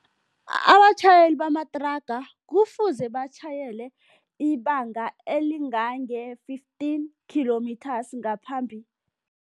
Abatjhayeli bamathraga kufuze batjhayele ibanga elingange fifteen kilometres ngaphambi.